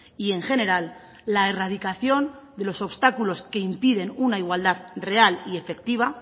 y en general la erradicación de los obstáculos que impiden una igualdad real y efectiva